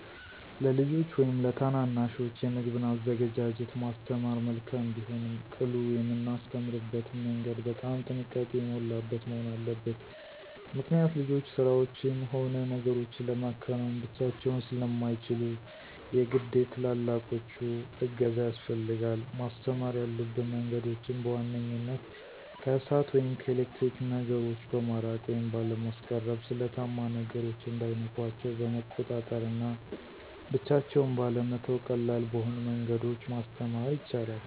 ለልጆች ወይም ለታናናሾች የምግብን አዘገጃጀት ማስተማር መልካም ቢሆንም ቅሉ የምናስተምርበትም መንገድ በጣም ጥንቃቄ የሞላበት መሆን አለበት። ምክኒያት ልጆች ስራዎችን ሆነ ነገሮችን ለማከናወን ብቻቸውን ስለማይችሉ የግድ የትላላቆቹ እገዛ ያስፈልጋል። ማስተማር ያሉብን መንገዶችም፦ በዋንኛነት ከእሳት ወይም ከኤሌክትሪክ ነገሮ በማራቅ ወይም ባለማስቀረብ፣ ስለታማ ነገሮች እንዳይነኳቸው በመቆጣጠር እና ብቻቸውን ባለመተው ቀላል በሆኑ መንገዶች ማስተማር ይቻላል።